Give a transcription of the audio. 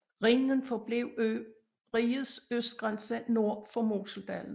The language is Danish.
Rhinen forblev rigets østgrænse nord for Moseldalen